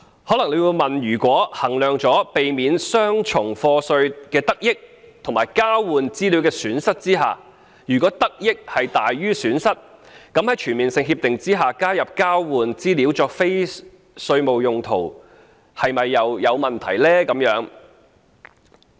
可能有人會問，如果衡量過避免雙重課稅的得益和交換資料的損失後，認為得多於失，在全面性協定下加入交換資料作非稅務用途的條款又有何問題呢？